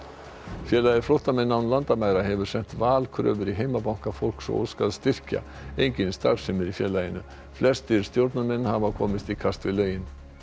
félagið flóttamenn án landamæra hefur sent valkröfur í heimabanka fólks og óskað styrkja engin starfsemi er í félaginu flestir stjórnarmenn hafa komist í kast við lögin